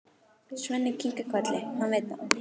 Svenni kinkar kolli, hann veit það.